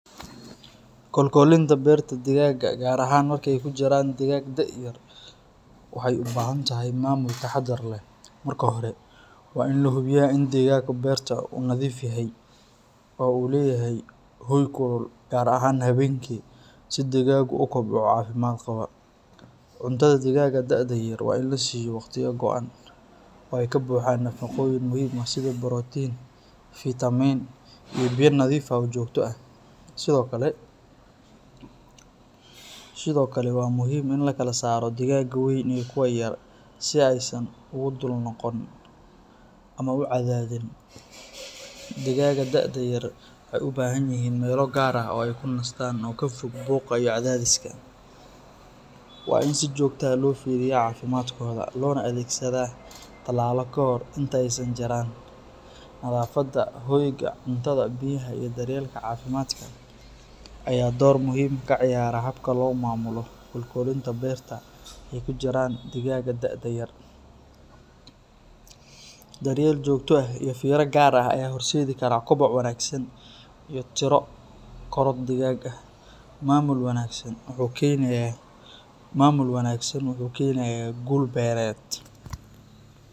Kolkolinta beerta digaagga, gaar ahaan marka ay ku jiraan digaag da’yar, waxay u baahan tahay maamul taxaddar leh. Marka hore, waa in la hubiyaa in deegaanka beerta uu nadiif yahay oo uu leeyahay hoy kulul, gaar ahaan habeenkii, si digaaggu u kobco caafimaad qaba. Cuntada digaagga da’da yar waa in la siiyo waqtiyo go’an, oo ay ka buuxaan nafaqooyin muhiim ah sida borotiin, fiitamiin iyo biyo nadiif ah oo joogto ah. Sidoo kale, waa muhiim in la kala saaro digaagga weyn iyo kuwa yar si aysan ugu dul-noqon ama u cadaadin. Digaagga da’da yar waxay u baahan yihiin meelo gaar ah oo ay ku nastaan oo ka fog buuqa iyo cadaadiska. Waa in si joogto ah loo fiiriyaa caafimaadkooda, loona adeegsadaa tallaalo kahor inta aysan jirran. Nadaafadda, hoyga, cuntada, biyaha iyo daryeelka caafimaadka ayaa door muhiim ah ka ciyaara habka loo maamulo kolkolinta beerta ay ku jiraan digaagga da’da yar. Daryeel joogto ah iyo fiiro gaar ah ayaa horseedi kara koboc wanaagsan iyo tiro korodh digaagga ah. Maamul wanaagsan wuxuu keenayaa guul beereed.